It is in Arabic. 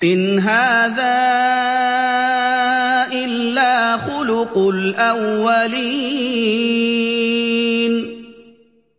إِنْ هَٰذَا إِلَّا خُلُقُ الْأَوَّلِينَ